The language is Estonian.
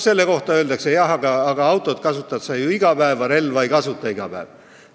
Selle kohta öeldakse, et jah, aga autot kasutad sa ju iga päev, relva ei kasuta iga päev.